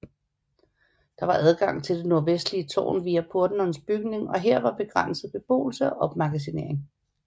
Der var adgang til det nordvestlige tårn via portnerens bygning og her var begrænset beboelse og opmagasinering